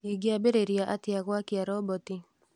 Ingĩambĩrĩria atĩa gũakia roboti